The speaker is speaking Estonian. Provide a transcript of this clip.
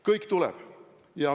Kõik tuleb!